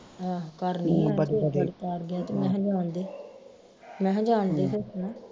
ਆਹੋ ਘਰ ਨੀ ਆਇਆ ਮਹਿ ਜਾਣ ਦੇ ਮਹਿ ਜਾਣ ਦੇ ਫਿਰ